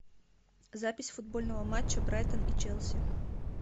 запись футбольного матча брайтон и челси